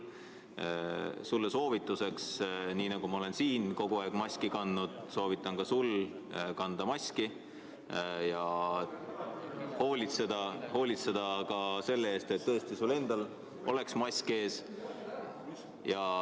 Nii nagu ma olen siin kogu aeg maski kandnud, soovitan ka sul kanda maski ja hoolitseda selle eest, et sul endal oleks mask ees.